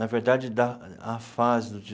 Na verdade, da a fase do